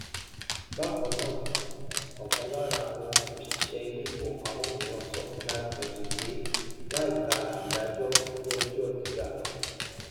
bákan náà òkan lára àwọn òṣìṣẹ iléifowopamọ mìíràn sọ fún nairametrics pé láìka ìdájó iléẹjọ gíga